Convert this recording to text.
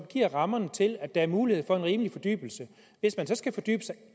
giver rammerne til at der er mulighed for en rimelig fordybelse hvis man så skal fordybe sig